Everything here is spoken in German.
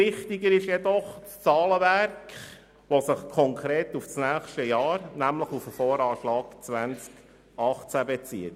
Viel wichtiger ist jedoch das Zahlenwerk, das sich konkret auf das nächste Jahr, nämlich auf den VA 2018 bezieht.